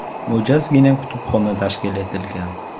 Mo‘jazgina kutubxona tashkil etilgan.